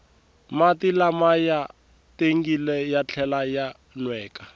mati lama ya tengile ya tlhela ya nweka